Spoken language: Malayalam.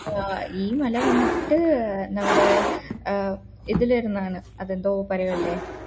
ആഹ് ഈ മല വന്നിട്ട് നമ്മുട ഈ ഏർ ഇതിലിരുന്നാണ് അത് എന്തോ പറയില്ലേ